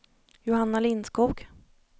Johanna Lindskog